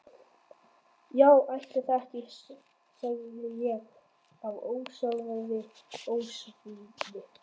Já ætli það ekki, sagði ég af ósjálfráðri ósvífni.